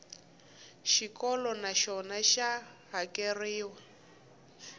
xikolo na xona xa hakeriwa